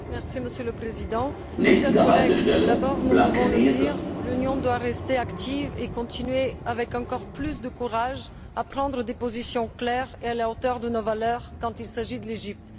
Monsieur le Président, chers collègues, d'abord nous pouvons le dire l'Union doit rester active et continuer, avec encore plus de courage, à prendre des positions claires et à la hauteur de nos valeurs quand il s'agit de l'Égypte.